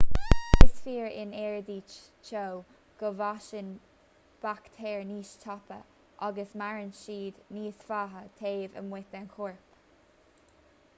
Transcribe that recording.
is fíor in aeráidí teo go bhfásann baictéir níos tapa agus maireann siad níos faide taobh amuigh den chorp